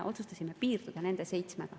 Otsustasime piirduda nende seitsmega.